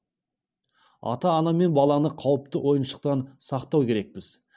ата ана мен баланы қауіпті ойыншықтан сақтау керекпіз